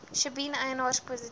sjebien eienaars positief